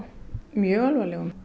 mjög alvarlegum